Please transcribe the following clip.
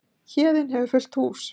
Héðinn hefur fullt hús